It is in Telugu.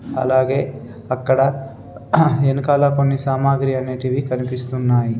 అలాగే అక్కడ వెనకాల కొన్ని సామాగ్రి అనేటివి కనిపిస్తున్నాయి.